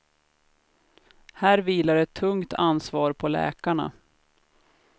Här vilar ett tungt ansvar på läkarna.